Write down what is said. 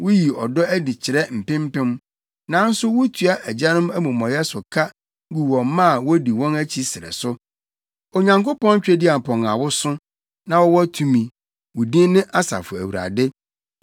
Wuyi ɔdɔ adi kyerɛ mpempem, nanso wutua agyanom amumɔyɛ so ka gu wɔn mma a wodi wɔn akyi srɛ so. Onyankopɔn Tweduampɔn a woso na wowɔ tumi, wo din ne Asafo Awurade,